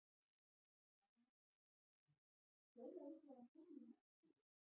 Amma kom úr símanum: Fjóla vill að hún komi í næstu viku.